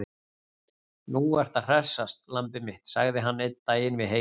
Nú ertu að hressast, lambið mitt, sagði hann einn daginn við Heiðu.